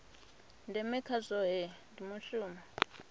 ndeme kha zwohe ndi mushumo